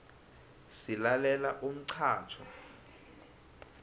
silalela umxhatjho